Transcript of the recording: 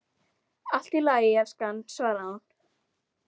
Allt í lagi, elskan, svaraði hún.